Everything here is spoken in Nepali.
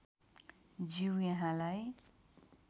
ज्यू यहाँलाई